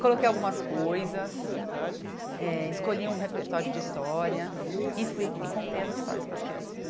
Coloquei algumas coisas, eh escolhi um repertório de histórias e fui e contei as histórias para as crianças.